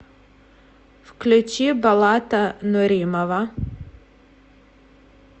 включи болата нуримова